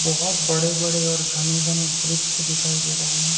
बहोत बड़े बड़े और घने घने वृक्ष दिखाई दे रहे है।